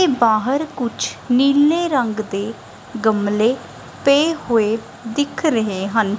ਬਾਹਰ ਕੁਝ ਨੀਲੇ ਰੰਗ ਦੇ ਗਮਲੇ ਪੇ ਹੋਏ ਦਿੱਖ ਰਹੇ ਹਨ।